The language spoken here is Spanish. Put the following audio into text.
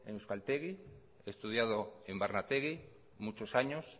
en euskaltegi he estudiado en barnetegi muchos años